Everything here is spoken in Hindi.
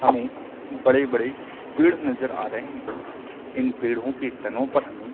हमें बड़े - बड़े पेड़ नजर आ रहे है इन पेड़ो के तनों पर हमें --